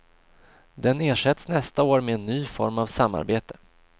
Den ersätts nästa år med en ny form av samarbete.